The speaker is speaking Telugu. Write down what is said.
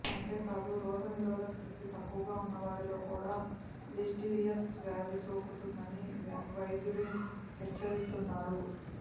అంతేకాదు రోగనిరోధక శక్తి తక్కువగా ఉన్నవారిలో కూడా లిస్టీరియాసిస్ వ్యాధి సోకుతుందని వైద్యులు హెచ్చరిస్తున్నారు